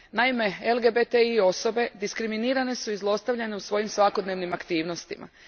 Naime, LGBTI osobe diskriminirane su i zlostavljane u svojim svakodnevnim aktivnostima.